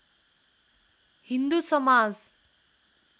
Hindu Samaj